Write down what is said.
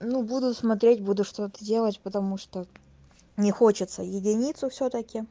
ну буду смотреть буду что-то делать потому что не хочется единицу всё-таки